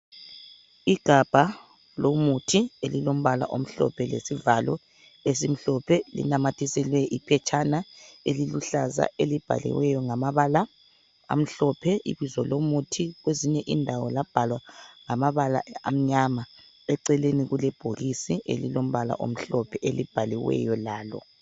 Igamba lomuthi elilompala omhlophe lesivalo esimhlophe linamathiselwe iphetshana eliluhlaza elibhaliweyo ngamabala amhlophe ibizo lomuthi kwezinye indawo labhalwa ngamabala amnyama. Ecelelni kulebhokisi elilompala omhlophe elibhaliweyo lalo.